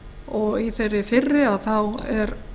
og í þeirri fyrri er